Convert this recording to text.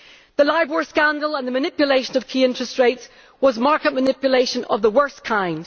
The Libor scandal and the manipulation of key interest rates was market manipulation of the worst kind.